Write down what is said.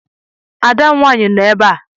Ada m nwaanyị nọ ebe a.